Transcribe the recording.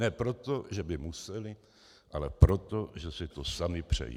Ne proto, že by museli, ale proto, že si to sami přejí.